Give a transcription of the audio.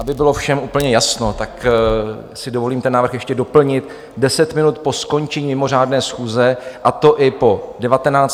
Aby bylo všem úplně jasno, tak si dovolím ten návrh ještě doplnit - deset minut po skončení mimořádné schůze, a to i po 19., 21. i 24. hodině.